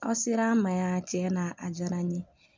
Aw ser'an ma yan tiɲɛ na a diyara n ye